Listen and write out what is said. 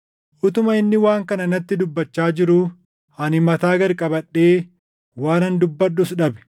Utuma inni waan kana natti dubbachaa jiruu ani mataa gad qabadhee waanan dubbadhus dhabe.